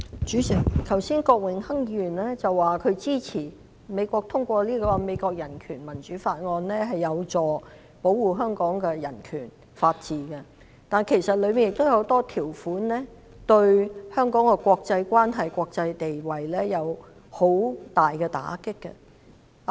主席，剛才郭榮鏗議員說他支持美國通過《香港法案》，認為有助保護香港的人權及法治，但其實當中亦有很多條款對香港的國際關係及國際地位有很大打擊。